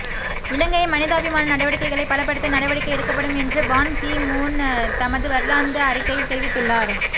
இலங்கையின் மனிதாபிமான நடவடிக்கைகளை பலப்படுத்த நடவடிக்கை எடுக்கப்படும் என்று பான் கீ மூன் தமது வருடாந்த அறிக்கையில் தெரிவித்துள்ளார்